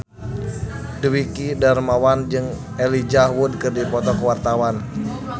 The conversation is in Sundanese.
Dwiki Darmawan jeung Elijah Wood keur dipoto ku wartawan